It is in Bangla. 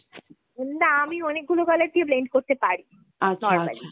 না আমি অনেকগুলো colour দিয়ে blend করতে পারি।